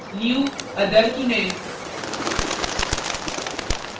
new> other चुनें